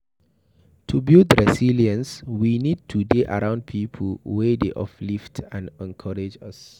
To build resilence we need to dey around pipo wey dey uplift and encourage us